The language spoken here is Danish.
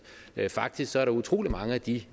faktisk er der utrolig mange af de